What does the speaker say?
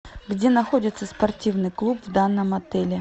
где находится спортивный клуб в данном отеле